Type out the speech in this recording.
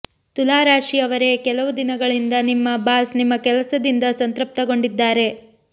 ತುಲಾ ರಾಶಿಯವರೇ ಕೆಲವು ದಿನಗಳಿಂದ ನಿಮ್ಮ ಬಾಸ್ ನಿಮ್ಮ ಕೆಲಸದಿಂದ ಸಂತೃಪ್ತಿಗೊಂಡಿದ್ದಾರೆ